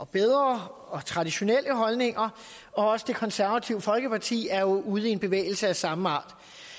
bedre og traditionelle holdninger og også det konservative folkeparti er ude i en bevægelse af samme art